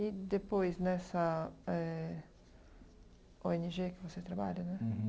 E depois, nessa eh ô ene gê que você trabalha, né?